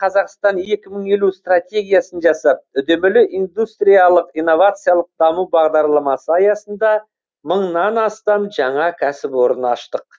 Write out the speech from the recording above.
қазақстан екі мың елу стратегиясын жасап үдемелі индустриялық инновациялық даму бағдарламасы аясында мыңнан астам жаңа кәсіпорын аштық